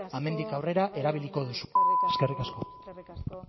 hemendik aurrera erabiliko duzuena eskerrik asko arzuaga jauna eskerrik asko